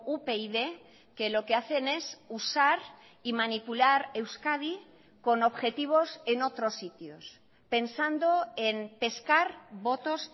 upyd que lo que hacen es usar y manipular euskadi con objetivos en otros sitios pensando en pescar votos